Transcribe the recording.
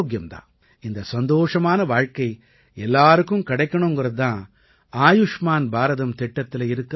இந்த சந்தோஷமான வாழ்க்கை எல்லாருக்கும் கிடைக்கணுங்கறது தான் ஆயுஷ்மான் பாரதம் திட்டத்தில இருக்கற உணர்வு